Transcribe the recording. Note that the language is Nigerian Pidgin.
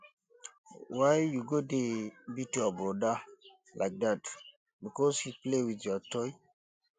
why you go dey beat your broda like dat because he play with your toy